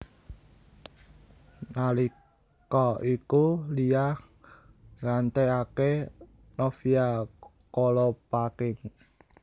Nalika iku Lia nggantekaké Novia Kolopaking